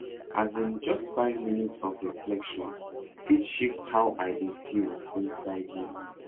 as in just five minutes of reflection fit shift how i dey feel inside me